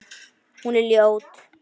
Hún er ljót.